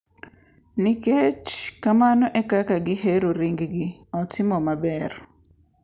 Nikech kamano e kaka gihero ring-gi, otimo maber!